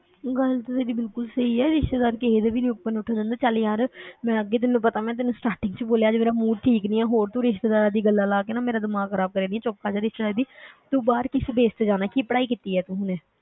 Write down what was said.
ਗੱਲ ਤੇ ਤੇਰੀ ਬਿਲਕੁਲ ਸਹੀ ਹੈ ਰਿਸ਼ਤੇਦਾਰ ਕਿਸੇ ਦੇ ਵੀ ਨੀ ਉੱਪਰ ਨੂੰ ਉੱਠਣ ਦਿੰਦੇ ਚੱਲ ਯਾਰ ਮੈਂ ਅੱਗੇ ਤੈਨੂੰ ਪਤਾ ਮੈਂ ਤੈਨੂੰ starting ਵਿੱਚ ਬੋਲਿਆ ਸੀ ਮੇਰਾ mood ਠੀਕ ਨੀ ਹੈ, ਹੋਰ ਰਿਸ਼ਤੇਦਾਰਾਂ ਦੀਆਂ ਗੱਲਾਂ ਲਾ ਕੇ ਨਾ ਮੇਰਾ ਦਿਮਾਗ ਖ਼ਰਾਬ ਕਰੇ ਦੀ, ਚੁੱਪ ਕਰ ਜਾ ਤੂੰ ਬਾਹਰ ਕਿਸ base ਤੇ ਜਾਣਾ ਕੀ ਪੜ੍ਹਾਈ ਕੀਤੀ ਹੈ ਤੂੰ ਹੁਣੇ,